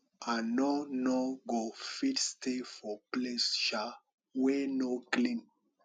i no no go fit stay for place um wey no clean